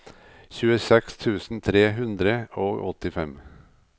tjueseks tusen tre hundre og åttifem